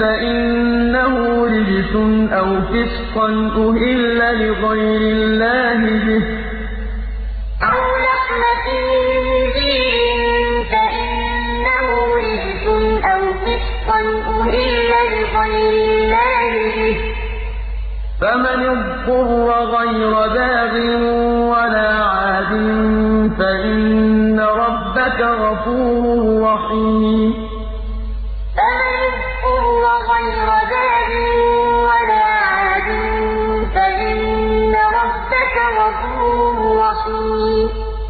فَإِنَّهُ رِجْسٌ أَوْ فِسْقًا أُهِلَّ لِغَيْرِ اللَّهِ بِهِ ۚ فَمَنِ اضْطُرَّ غَيْرَ بَاغٍ وَلَا عَادٍ فَإِنَّ رَبَّكَ غَفُورٌ رَّحِيمٌ قُل لَّا أَجِدُ فِي مَا أُوحِيَ إِلَيَّ مُحَرَّمًا عَلَىٰ طَاعِمٍ يَطْعَمُهُ إِلَّا أَن يَكُونَ مَيْتَةً أَوْ دَمًا مَّسْفُوحًا أَوْ لَحْمَ خِنزِيرٍ فَإِنَّهُ رِجْسٌ أَوْ فِسْقًا أُهِلَّ لِغَيْرِ اللَّهِ بِهِ ۚ فَمَنِ اضْطُرَّ غَيْرَ بَاغٍ وَلَا عَادٍ فَإِنَّ رَبَّكَ غَفُورٌ رَّحِيمٌ